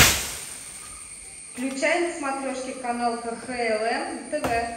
включай на смотрешке канал кхлм тв